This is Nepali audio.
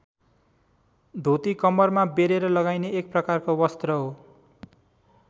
धोती कम्मरमा बेरेर लगाइने एक प्रकारको वस्त्र हो।